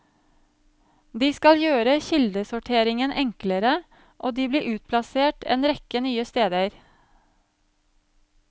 De skal gjøre kildesorteringen enklere, og de blir utplassert en rekke nye steder.